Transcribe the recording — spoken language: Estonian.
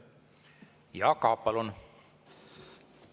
Jaak Aab, palun!